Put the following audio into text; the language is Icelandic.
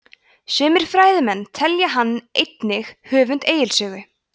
sumir fræðimenn telja hann einnig höfund egils sögu